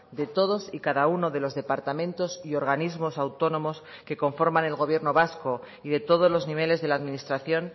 de todos y cada uno de los departamentos y organismos autónomos que conforman el gobierno vasco y de todos los niveles de la administración